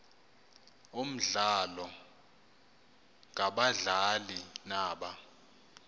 omdlalo ngabadlali naba